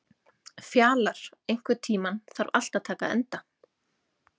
Fjalar, einhvern tímann þarf allt að taka enda.